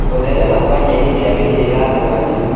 Gũtherema Kwa nyeni cia mĩhĩrĩga ngũrani